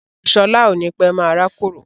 Ọmọ sọlá ó ní pẹ́ máa rákòrò